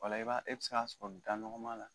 O la e bɛ se k'a sɔrɔ da nɔgɔman la